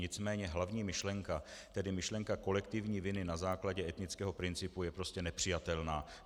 Nicméně hlavní myšlenka, tedy myšlenka kolektivní viny na základě etnického principu, je prostě nepřijatelná.